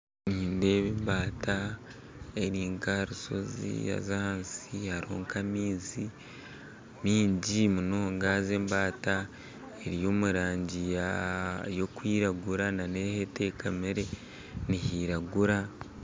Nindeeba embaata eri nk'aha rushozi haza ahansi hariho nk'amaizi maingi munonga embata eri omurangi y'okwiragura n'ahu etekamire nihiragura